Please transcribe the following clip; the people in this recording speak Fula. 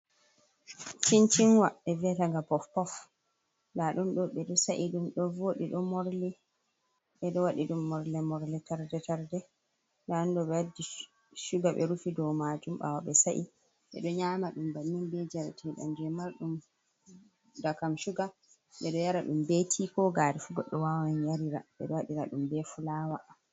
Cincinwa e vietenga pof pof nda ɗunɗo bedo sa’i ɗum ɗo vodi ɗo morli bedo waɗi ɗum morle more, tarde tarde lahando ɓe waddi shuga ɓe rufi do majum bawo ɓe sa’i bedo nyama ɗum bammin be jarte ɗam je marɗum da kam shuga, ɓe ɗo yara dum be ti ko gare fu goɗɗe wawan yarira ɓeɗo waɗira ɗum ɓe fulawaa